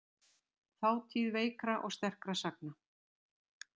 Þátíð veikra og sterkra sagna.